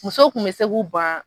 Muso kun bɛ se ku ban.